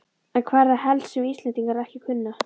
En hvað er það helst sem Íslendingar ekki kunna?